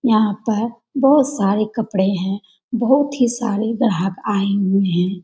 यहाँ पर बहुत सारे कपड़े हैं बहुत ही सारे ग्राहक आए हुए हैं।